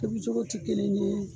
Tobi cogo ti kelen ye